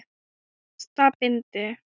Fyrsta bindi.